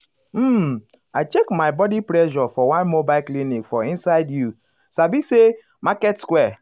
um i check my my blood pressure for one mobile clinic for inside you sabi say market square.